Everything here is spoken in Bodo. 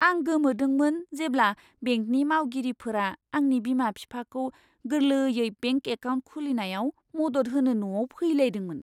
आं गोमोदोंमोन जेब्ला बेंकनि मावगिरिफोरा आंनि बिमा बिफाखौ गोरलैयै बेंक एकाउन्ट खुलिनायाव मदद होनो न'आव फैलायदोंमोन!